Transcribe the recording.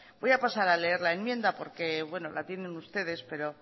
voy a pasar a leer la enmienda porque bueno la tienen ustedes pero